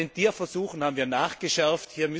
Auch bei den Tierversuchen haben wir nachgeschärft.